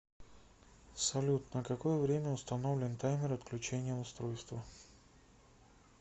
салют на какое время установлен таймер отключения устройства